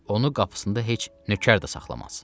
Onu qapısında heç nökər də saxlamaz.